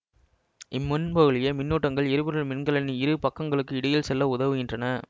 இம்மின்பகுளியே மின்னூட்டங்கள் எரிபொருள் மின்கலனின் இரு பக்கங்களுக்கு இடையிலும் செல்ல உதவுகின்றன